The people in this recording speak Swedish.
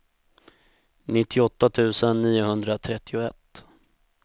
nittioåtta tusen niohundratrettioett